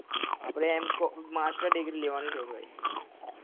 આપડે એમ કો master degree લેવા ની છે ભાઈ